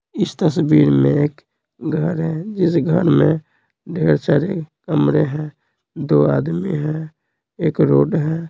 इस तस्वीर में एक घर है जिस घर में ढेर सारे कमरे हैं दो आदमी हैं एक रोड है।